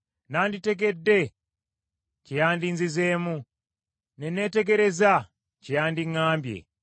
Nanditegedde kye yandinzizeemu, ne neetegereza kye yandiŋŋambye.